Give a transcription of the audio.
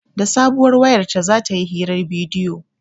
Da sabuwar wayar ta za ta yi hirar bidiyo